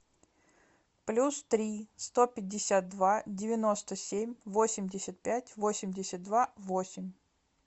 плюс три сто пятьдесят два девяносто семь восемьдесят пять восемьдесят два восемь